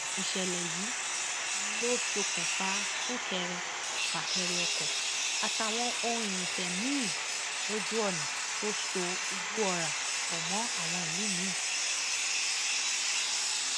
ìṣẹlẹ yìí ló ṣokùnfà súnkẹrẹfàkẹrẹ ọkọ àtàwọn ohun irinṣẹ miín lójú ọnà tó so ìgbọọra pọ mọ àwọn ìlú miín